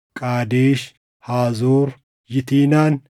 Qaadesh, Haazoor, Yitinaan,